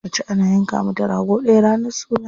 Mace ana yanka mata rago ɗaya ranar suna.